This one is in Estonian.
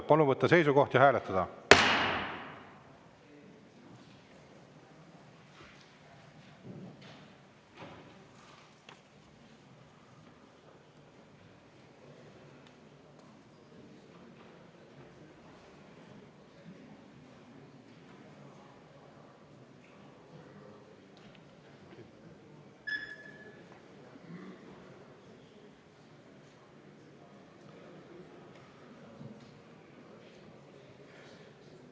Palun võtta seisukoht ja hääletada!